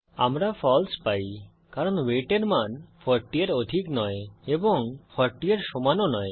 আমরা ফালসে পাই কারণ ওয়েট এর মান 40 এর অধিক নয় এবং 40 এর সমান ও নয়